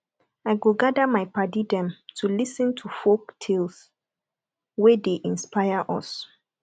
i go gather my paddy dem to lis ten to folk tales wey dey inspire us